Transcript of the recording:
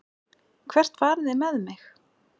Hvert farið þið með mig?